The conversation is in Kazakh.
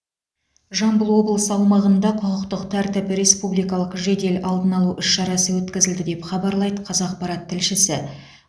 жамбыл облысы аумағында құқықтық тәртіп республикалық жедел алдын алу іс шарасы өткізілді деп хабарлайды қазақпарат тілшісі